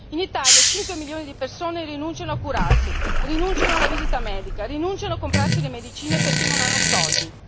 In Italia 5 milioni di persone rinunciano a curarsi, rinunciano alla visita medica, rinunciano a comprarsi le medicine perché non hanno soldi.